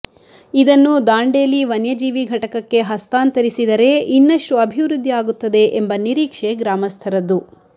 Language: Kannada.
ಇದನ್ನು ದಾಂಡೇಲಿ ವನ್ಯಜೀವಿ ಘಟಕಕ್ಕೆ ಹಸ್ತಾಂತರಿಸಿದರೇ ಇನ್ನಷ್ಟು ಅಭಿವೃದ್ಧಿ ಆಗುತ್ತದೆ ಎಂಬ ನಿರೀಕ್ಷೆ ಗ್ರಾಮಸ್ಥರದ್ದು